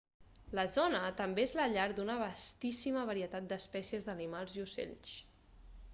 la zona també és la llar d'una vastíssima varietat d'espècies d'animals i ocells